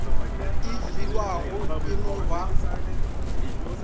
e fiwago e no ba